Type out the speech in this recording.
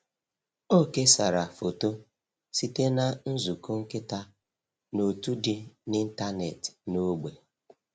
Ọ kesara foto site na nzukọ nkịta n’òtù dị n’ịntanetị n’ógbè.